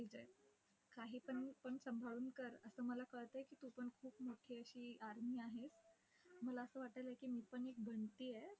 काही पण पण सांभाळून कर. असं मला पण कळतंय आहे की तू पण खूप मोठी अशी army आहेस. मला असं वाटायलंय की मी पण एक बनतेय. ठीक आहे!